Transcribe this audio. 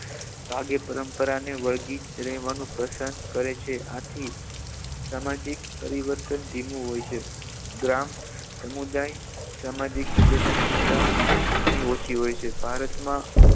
ભાગ્ય પરંપરા ને વળગી રહેવાનું પસંદ કરે છે આથી સામાજિક પરિવર્તન ધીમું હોય છે ગ્રામ સમુદાય સામાજિક ગતિશીલતા ઘણી ઓછી હોય છે ભારતમાં